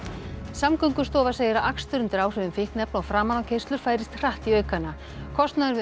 Samgöngustofa segir að akstur undir áhrifum fíkniefna og framanákeyrslur færist hratt í aukana kostnaður við